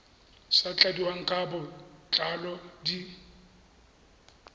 sa tladiwang ka botlalo di